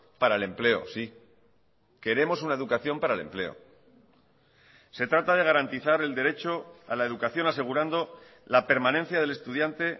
para el empleo sí queremos una educación para el empleo se trata de garantizar el derecho a la educación asegurando la permanencia del estudiante